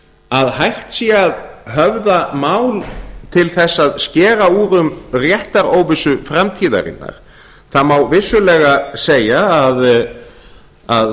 að hægt sé að höfða mál til þess að skera úr um réttaróvissu framtíðarinnar það má vissulega segja að